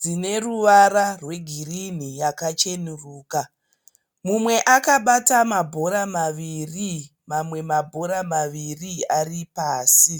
dzine ruvara rwegirini yakachenuruka mumwe akabata mabhora maviri mamwe mabhora maviri aripasi.